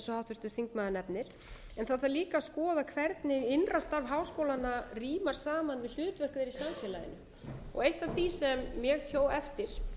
háttvirtur þingmaður nefnir en það þarf líka að skoða hvernig innra starf háskólanna rímar saman við í samfélaginu eitt af því sem ég hjó eftir